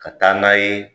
Ka taa n'a ye